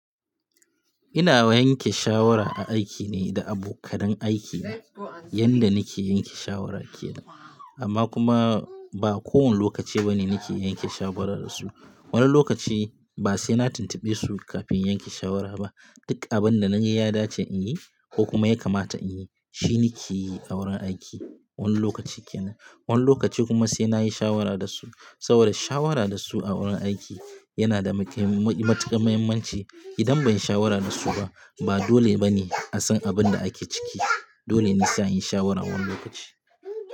Ina yanke shawara a aiki ne da abokanan aiki na, yanda nake yanke shawara ke nan. Amma kuma, ba kowani lokaci bane nake yanke shawarar da su. Wani lokaci ba sai na tuntuɓe su kafin in yanke shawara ba. Duk abin da na yi, ya dace in yi ko kuma ya kamata in yi, shi nikeyi a wurin aiki. Wani lokaci kenan. Wani lokaci kuma sai nayi shawara da su. Saboda shawara da su a wurin aiki, yana da matuƙar muhimmanci. Idan banyi shawara da su ba, ba dole bane a san abin da ake ciki. Dole ne sai anyi shawaran wani lokaci.